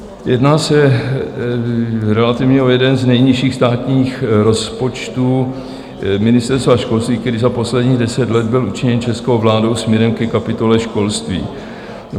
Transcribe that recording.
Jedná se relativně o jeden z nejnižších státních rozpočtů Ministerstva školství, který za posledních deset let byl učiněn českou vládou směrem ke kapitole školství.